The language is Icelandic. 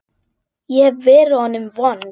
Ég hef verið honum vond.